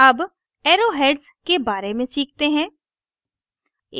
अब arrow heads के बारे में सीखते हैं